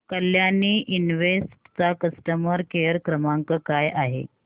Kalyani invest चा customer care क्रमांक काय आहे